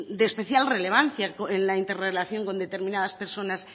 de especial relevancia en la interrelación con determinadas personas